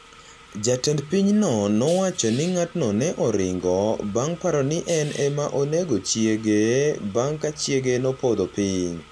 Jatend pinyno nowacho ni ng’atno ne oringo bang’ paro ni en ema onego chiege bang’ ka chiege nopodho piny.